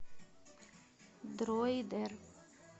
дроидер